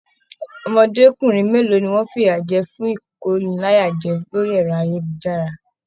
Ọmọdékunrin mélòó ní wọn fiyajẹ fún ikóníláyàjẹ̀ orí ẹrọ ayélujára?